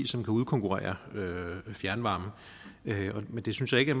som kan udkonkurrere fjernvarmen men det synes jeg ikke